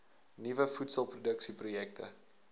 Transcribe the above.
nuwe voedselproduksie projekte